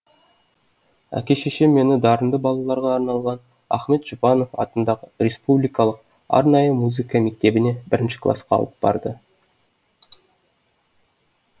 әке шешем мені дарынды балаларға арналған ахмет жұбанов атындағы республикалық арнайы музыка мектебіне бірінші классқа алып барды